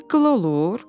Çıqqıla olur?